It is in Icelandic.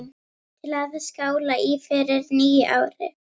Til að skála í fyrir nýju ári.